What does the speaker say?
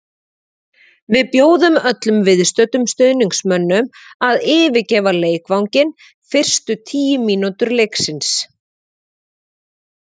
Við bjóðum öllum viðstöddum stuðningsmönnum að yfirgefa leikvanginn fyrstu tíu mínútur leiksins.